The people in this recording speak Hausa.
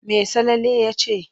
Me Salele ya ce?